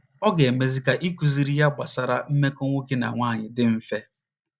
Ọ ga - emezi ka ịkụziri ya gbasara mmekọ nwoke na nwaanyị dị mfe.